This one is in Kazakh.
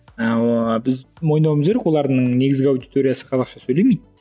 ыыы біз мойындауымыз керек олардың негізгі аудиториясы қазақша сөйлемейді